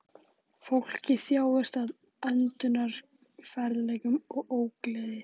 Fólkið þjáðist af öndunarerfiðleikum og ógleði